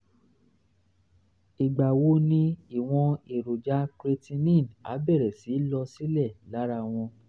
ìgbà wo ni ìwọ̀n èròjà creatinine á bẹ̀rẹ̀ sí í lọ sílẹ̀ lára wọn?